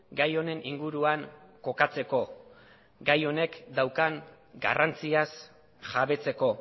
gai honen inguruan kokatzeko gai honek daukan garrantziaz jabetzeko